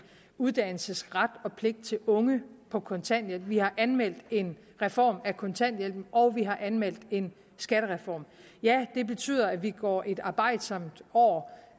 uddannelsesret og pligt til unge på kontanthjælp vi har anmeldt en reform af kontanthjælpen og vi har anmeldt en skattereform ja det betyder at vi går et arbejdsomt år